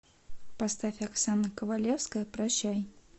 поставь оксана ковалевская прощай